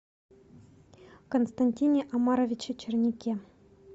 константине омаровиче черняке